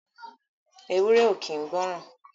Ewúré ò kín gbọ̀ran.